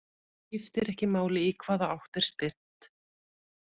Skiptir ekki máli í hvaða átt er spyrnt.